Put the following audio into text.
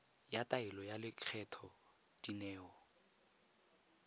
ya taelo ya lekgetho dineo